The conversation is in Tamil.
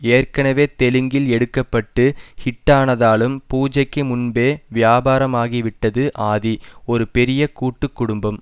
ஏற்கனவே தெலுங்கில் எடுக்க பட்டு ஹிட்டானதாலும் பூஜைக்கு முன்பே வியாபாரமாகி விட்டது ஆதி ஒரு பெரிய கூட்டு குடும்பம்